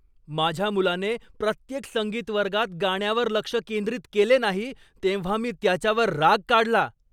माझ्या मुलाने प्रत्येक संगीत वर्गात गाण्यावर लक्ष केंद्रित केले नाही तेव्हा मी त्याच्यावर राग काढला.